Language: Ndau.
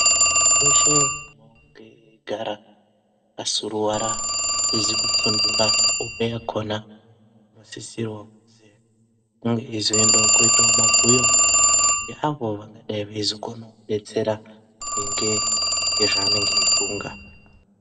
Muntu weshe unonge eigara akasuruwara asizi kusungura hope yakona unosisirewo kuenda kuzoita mabhuyo neavo vangadai vezokone kudetsera maringe ngezvaanenge eifunga.